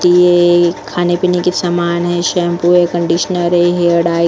ये खाने पीने के सामान है शैंपू है कंडीशनर है हेयर डाई --